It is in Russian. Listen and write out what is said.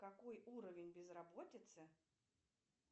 какой уровень безработицы